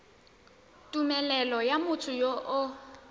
tumelelo ya motho yo o